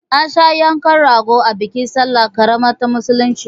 An sha yanka rago a bikin salla ƙarama ta musulmai